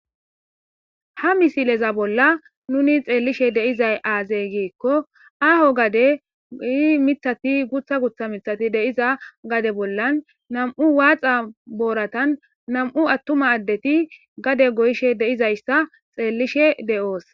Ha misileza bolla nuuni xeellishe de7izay aazee giikko aaho gadee miththathi guuththa miththathi de7iza gade bollan nam7u waaxa boorathan nam7u aththuma addethi gade goyishe de7izayssa xeellishee de7oos.